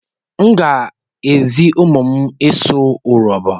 M ga-ezi ụmụ m ịsụ Urobo.